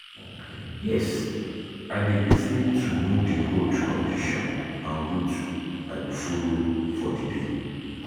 Yes, i dey lis ten to know di road condition and route i go follow for di day.